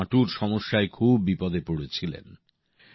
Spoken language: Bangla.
তিনি হাটুর সমস্যায় খুব বিপদে পড়েছিলেন